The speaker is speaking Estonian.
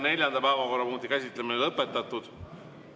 Neljanda päevakorrapunkti käsitlemine on lõpetatud.